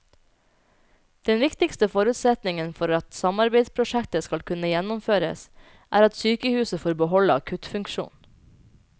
Den viktigste forutsetningen for at samarbeidsprosjektet skal kunne gjennomføres, er at sykehuset får beholde akuttfunksjonen.